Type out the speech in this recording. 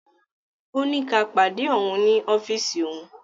Ọ́ ní ká pàdé ọ̀un ní ọ́fíìsì ọ̀un.